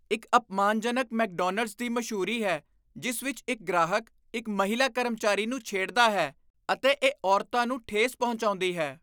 ਇੱਕ ਅਪਮਾਨਜਨਕ ਮੈਕਡੋਨਲਡਜ਼ ਦੀ ਮਸ਼ਹੂਰੀ ਹੈ ਜਿਸ ਵਿੱਚ ਇੱਕ ਗ੍ਰਾਹਕ ਇੱਕ ਮਹਿਲਾ ਕਰਮਚਾਰੀ ਨੂੰ ਛੇੜਦਾ ਹੈ, ਅਤੇ ਇਹ ਔਰਤਾਂ ਨੂੰ ਠੇਸ ਪਹੁੰਚਾਉਂਦੀ ਹੈ।